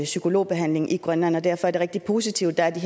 psykologbehandling i grønland og derfor er det rigtig positivt at der